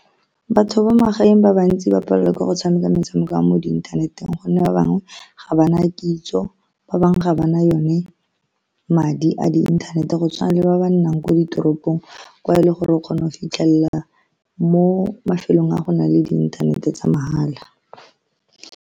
Batho ba magaeng ba bantsi ba palelwa ke go tshameka metshameko ya mo inthaneteng, ka gonne ba bangwe ga bana kitso, ba bangwe ga ba na yone madi a di-internet, go tshwana le ba ba nnang ko ditoropong, kwa e le gore o kgona go fitlhelela mo mafelong a go nang le inthanete tsa mahala.